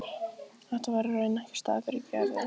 Þetta var í rauninni ekki staður fyrir Gerði.